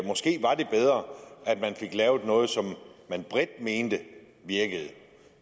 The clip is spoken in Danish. man fik lavet noget som man bredt mente virkede